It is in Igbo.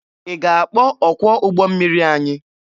Ị ga-akpọ ọkwọ ụgbọ mmiri anyị?